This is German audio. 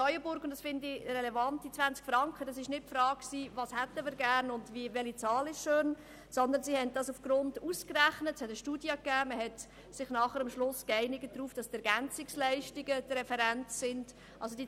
In Neuenburg war nicht relevant, was wünschbar gewesen wäre, sondern der Betrag wurde aufgrund einer Studie ausgerechnet, wobei die Ergänzungsleistungen als Referenz verwendet wurden.